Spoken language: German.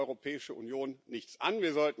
Das geht die Europäische Union nichts an.